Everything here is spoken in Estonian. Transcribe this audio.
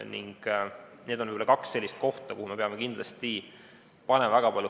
Need on kaks sellist kohta, kuhu me peame kindlasti fookuse suunama.